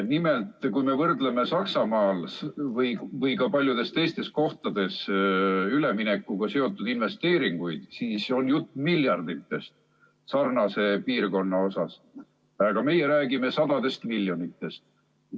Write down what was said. Nimelt, kui me võrdleme Saksamaal või ka paljudes teistes kohtades üleminekuga seotud investeeringuid, siis on jutt miljarditest sarnase piirkonna puhul, aga meie räägime sadadest miljonitest.